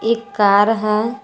एक कार है।